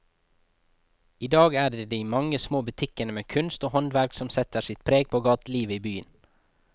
I dag er det de mange små butikkene med kunst og håndverk som setter sitt preg på gatelivet i byen.